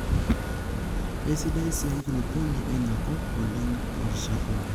Keisidai sii enkulupuoni eina kop oleng toorishat pookin.